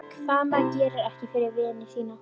Hvað gerir maður ekki fyrir vini sína.